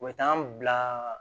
U bɛ taa an bila